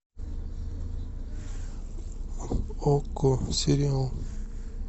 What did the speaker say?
окко сериал